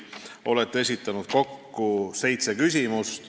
Olete esitanud kokku seitse küsimust.